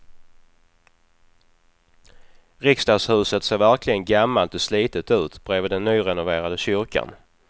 Riksdagshuset ser verkligen gammalt och slitet ut bredvid den nyrenoverade kyrkan.